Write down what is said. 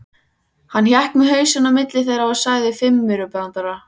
Hann hékk með hausinn á milli þeirra og sagði fimmaurabrandara.